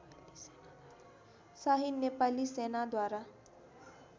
Shahi Nepali सेनाद्वारा